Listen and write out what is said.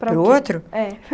Para o outro? É.